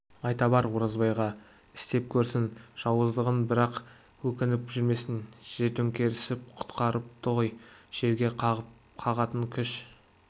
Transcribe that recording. айта бар оразбайға істеп көрсін жауыздығын бірақ өкініп жүрмесін жер тәңірісіп құтырыпты ғой жерге қағатын күш